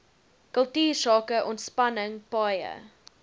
kultuursake ontspanning paaie